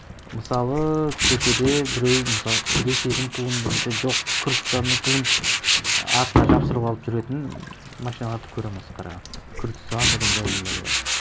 мысалы көшеде біреу мысалы ресейдің туын немесе жоқ күрдістанның туын артына жабыстырып алып жүретін машиналарды көремін осы қарағандыда күрдістан деген жазулары бар